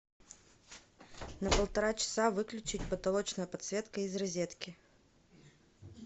на полтора часа выключить потолочная подсветка из розетки